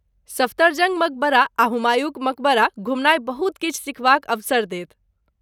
सफदरजंग मकबरा आ हुमायूँक मकबरा घुमनाइ बहुत किछु सिखबाक अवसर देत।